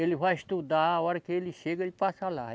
Ele vai estudar, a hora que ele chega, ele passa lá.